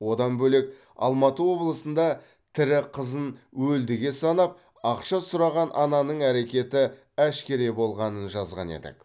одан бөлек алматы облысында тірі қызын өлдіге санап ақша сұраған ананың әрекеті әшкере болғанын жазған едік